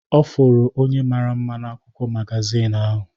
Ọ fụrụ onye mara mma n'akwụkwọ magazin ahụ.